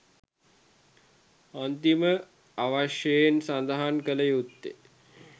අන්තිම වශයෙන් සදහන් කල යුත්තේ